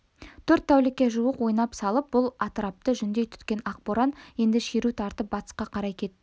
төрт тәулікке жуық ойнақ салып бұл атырапты жүндей түткен ақ боран енді шеру тартып батысқа қарай кетті